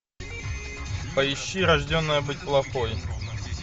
поищи рожденная быть плохой